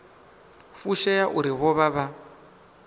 fushea uri vho vha vha